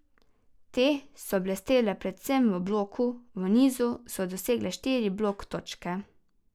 Te so blestele predvsem v bloku, v nizu so dosegle štiri blok točke.